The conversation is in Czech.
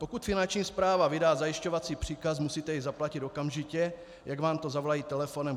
Pokud Finanční správa vydá zajišťovací příkaz, musíte jej zaplatit okamžitě, jak vám to zavolají telefonem.